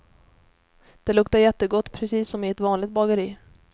Det luktar jättegott, precis som i ett vanligt bageri.